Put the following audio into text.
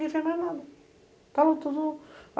Ninguém fez mais nada.